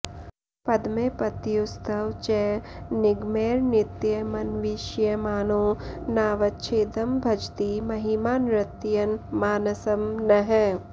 पद्मे पत्युस्तव च निगमैर्नित्यमन्विष्यमाणो नावच्छेदं भजति महिमा नर्तयन मानसं नः